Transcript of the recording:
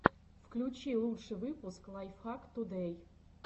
включи лучший выпуск лайфхак тудэй